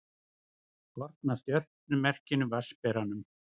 Kort af stjörnumerkinu Vatnsberanum.